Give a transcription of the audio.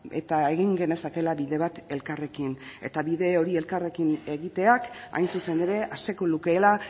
eta egin genezakeela bide bat elkarrekin eta bide hori elkarrekin egiteak hain zuzen ere aseko lukeela